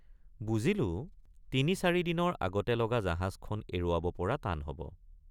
বুজিলোঁ তিনিচাৰিদিনৰ আগতে লগা জাহাজখন এৰুৱাব পৰা টান হব।